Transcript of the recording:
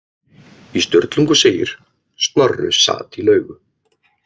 Í Sturlungu segir: Snorri sat í laugu